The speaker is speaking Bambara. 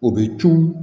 O bɛ cun